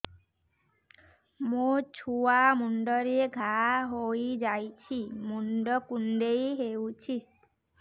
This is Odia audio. ମୋ ଛୁଆ ମୁଣ୍ଡରେ ଘାଆ ହୋଇଯାଇଛି ମୁଣ୍ଡ କୁଣ୍ଡେଇ ହେଉଛି